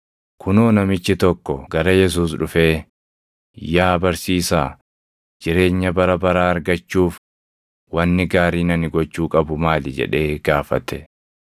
Kunoo namichi tokko gara Yesuus dhufee, “Yaa barsiisaa, jireenya bara baraa argachuuf wanni gaariin ani gochuu qabu maali?” jedhee gaafate.